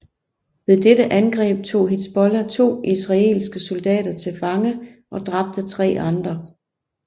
Ved dette angreb tog Hizbollah to israelske soldater til fange og dræbte tre andre